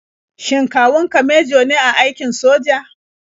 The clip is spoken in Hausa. Shin kawun ka mejo ne a aikin soja?